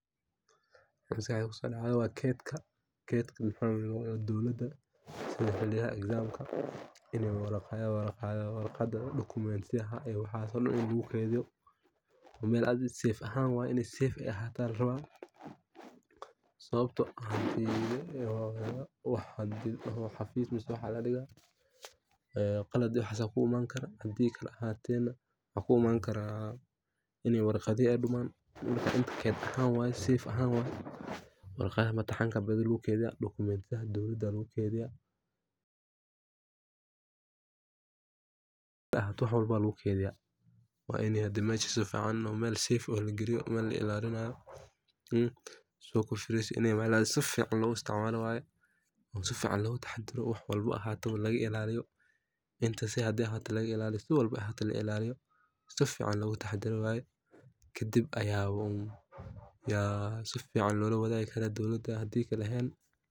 Wa geedka dowladda Sida imtixaanka, warqadaha iyo documents a la keydiyo meel save ah. Waa in xafiis la dhiga. Waxa iman kara qalad ah in warqadaha dumaaan. Waa geed ahaan warqadaha imtixaanka badi la keydiyo iyo documents meel la ilaalinayo. Waa in la geliyo si fiican, looga taxaddaro, si fiican loo ilaaliyo, lagana taxaddaro, si fiicanna loola wadaagi karaa dowladda.